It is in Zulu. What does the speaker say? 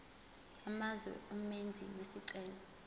amazwe umenzi wesicelo